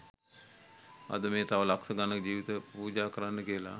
අද මේ තව ලක්ෂ ගණනක ජීවිත පූජා කරන්න කියල